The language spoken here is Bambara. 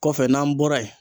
Kɔfɛ n'an bɔra yen